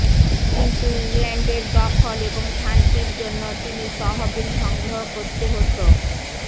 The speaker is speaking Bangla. কিন্তু ইংল্যান্ডের দখল এবং শান্তির জন্য তিনি তহবিল সংগ্রহ করতে হতো